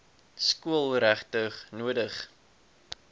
skool regtig nodig